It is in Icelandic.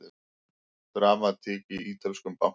Dramatík í ítölskum banka